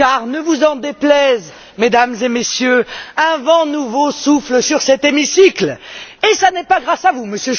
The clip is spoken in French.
Car ne vous en déplaise, Mesdames et Messieurs, un vent nouveau souffle sur cet hémicycle et ce n'est pas grâce à vous, M.